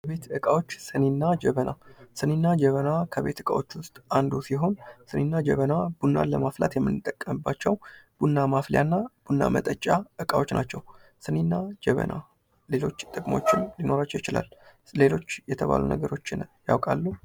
የቤት ዕቃዎች ሲኒና ጀበና ሲኒና ጀበና ከቤት እቃዎች ውስጥ አንዱ ሲሆን፤ ሲኒና ጀበና ቡናን ለማፍላት የምንጠቀምባቸው ቡና ማፍያ እና ቡና መጠጫ እቃዎች ናቸው። ሲኒና ጀበና ልጆች ጥቅሞች ሊኖራቸው ይችላል ሌሎች የተባሉ ነገሮችን ያውቃሉ?